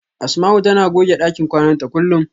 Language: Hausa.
Asama'u tana goge ɗakin kwana ta kullum.